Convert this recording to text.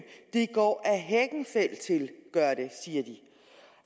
det går ad hekkenfeldt til siger de